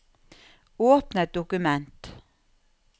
Åpne et dokument